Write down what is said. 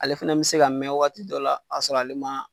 Ale fɛnɛ bi se ka mɛn waati dɔ la ka sɔrɔ ale ma